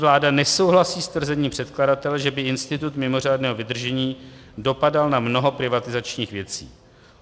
Vláda nesouhlasí s tvrzením předkladatele, že by institut mimořádného vydržení dopadal na mnoho privatizačních věcí.